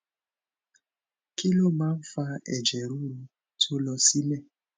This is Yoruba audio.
kí ló máa ń fa ẹjẹ ruru to lo sile